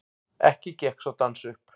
Ekki gekk sá dans upp.